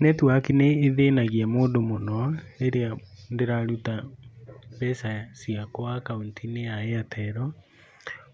Netiwaki nĩ ĩthĩnagia mũndũ mũno rĩrĩa ndĩraruta mbeca ciakwa akaunti-inĩ ya Airtel.